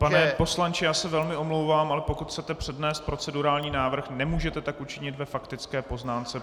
Pane poslanče, já se velmi omlouvám, ale pokud chcete přednést procedurální návrh, nemůžete tak učinit ve faktické poznámce.